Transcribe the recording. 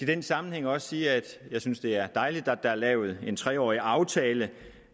den sammenhæng også sige at jeg synes det er dejligt at der er lavet en tre årig aftale